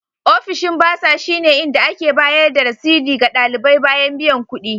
Ofishin Burser shine inda ake bayar da rasidi ga ɗalibai bayan biyan kuɗi.